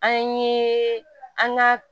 An ye an ka